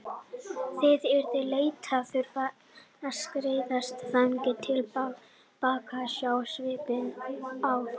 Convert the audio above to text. Það yrði leitt að þurfa að skreiðast þannig til baka og sjá svipinn á þeim.